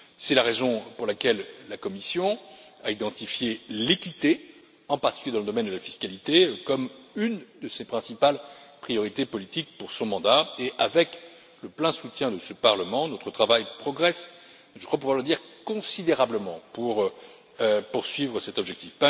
C'est la raison pour laquelle la Commission a identifié l'équité, en particulier dans le domaine de la fiscalité, comme une de ses principales priorités politiques pour son mandat et, avec le plein soutien de ce Parlement, notre travail progresse, je crois pouvoir le dire, considérablement dans la poursuite cet objectif.